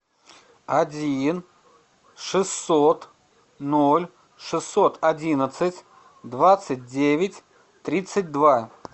один шестьсот ноль шестьсот одиннадцать двадцать девять тридцать два